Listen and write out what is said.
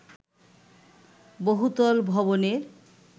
বহুতল ভবনের